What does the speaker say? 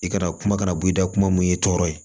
I kana kuma kana boyi da kuma mun i tɔɔrɔ